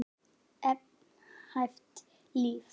Einhæft líf.